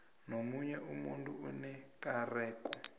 nomunye umuntu onekareko